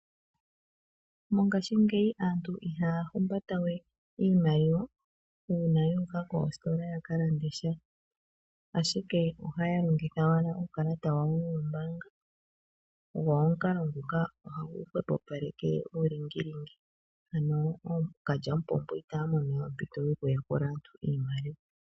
Mongashingeyi aantu ihaya humbata we iimaliwa uuna yu uka koositola ya kalande sha. Ashike ohaya longitha owala uukalata wawo woombaanga. Go omukalo nguka ohagu hwepopaleke uulingilingi. Ano ookalyamupombo itaya mono we ompito yoku yakula aantu iimaliwa.